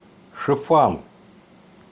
шифан